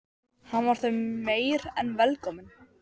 Hann var þeim meir en velkominn.